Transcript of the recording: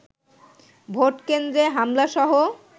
vote কেন্দ্রে হামলাসহ